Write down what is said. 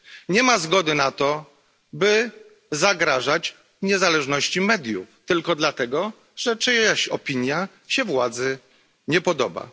Nie ma zgody na to, by zagrażać niezależności mediów tylko dlatego, że czyjaś opinia się władzy nie podoba.